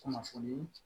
Kunnafoni